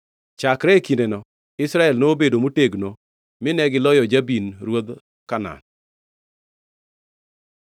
Chakre e kindeno Israel nobedo motegno mine giloyo Jabin ruodh Kanaan.